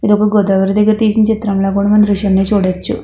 ఇది ఒక గోదావరి దగ్గర తీసిన చిత్రంల కూడా మనం దృశ్యాన్ని చూడొచ్చు.